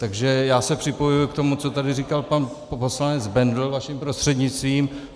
Takže já se připojuji k tomu, co tady říkal pan poslanec Bendl vaším prostřednictvím.